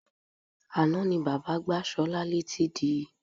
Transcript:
Àná ni bàbá gbá Sola létí di.